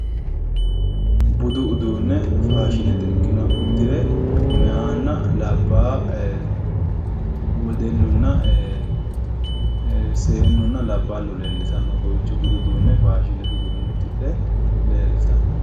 Budu uduune faashinete ikkinoha ududhe mayatinna labbalu leellittano